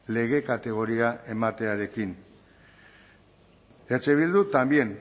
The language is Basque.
lege kategoria ematearekin eh bildu también